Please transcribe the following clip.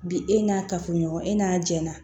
Bi e n'a kafoɲɔgɔn e n'a jɛnna